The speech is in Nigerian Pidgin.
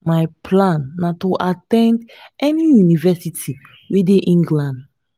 my plan na to at ten d any university wey dey england